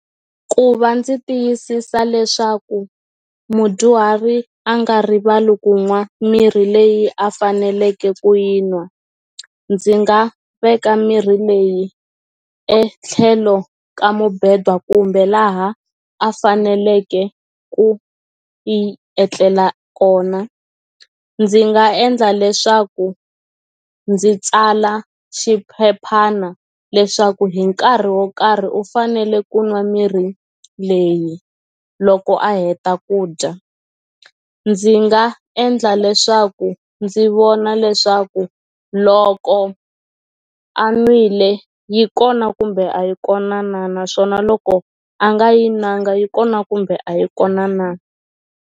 Ku va ndzi tiyisisa leswaku mudyuhari a nga rivali ku nwa mirhi leyi a faneleke ku yi nwa ndzi nga veka mirhi leyi etlhelo ka mubhedwa kumbe laha a faneleke ku yi etlela kona ndzi nga endla leswaku ndzi tsala xiphephana leswaku hi nkarhi wo karhi u fanele ku nwa mirhi leyi loko a heta ku dya ndzi nga endla leswaku ndzi vona leswaku loko a nwile yi kona kumbe a yi kona na naswona loko a nga yi nwanga yi kona kumbe a yi kona na.